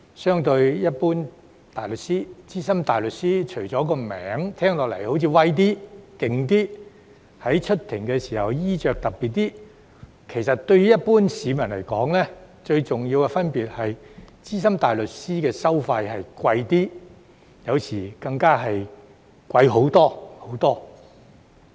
相對於一般大律師，資深大律師除了名銜聽似"威"一點、"勁"一些，以及在出庭時的衣着較特別外，其實對於一般市民來說，最重要的分別是資深大律師的收費較昂貴，有時更會昂貴很多、很多。